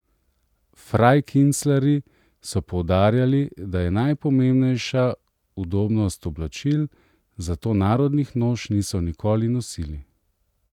Frajkinclarji so poudarjali, da je najpomembnejša udobnost oblačil, zato narodnih noš niso nikoli nosili.